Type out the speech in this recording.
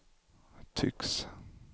tycks